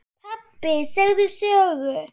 Pabbi segðu sögu.